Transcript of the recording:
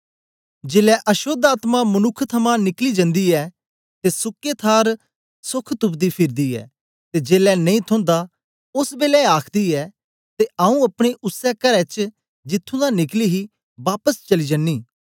जेलै अशोद्ध आत्मा मनुक्ख थमां निकली जंदी ऐ ते सुके थार सोख तुपदी फिरदी ऐ ते जेलै नेई थोंदा ओस बेलै आखदी ऐ ते आऊँ अपने उसै करै च जिथुं दा निकली ही बापस चली जनीं